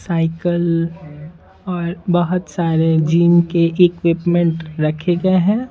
Cycle और बहुत सारे जिम के इक्विपमेंट रखे गए हैं।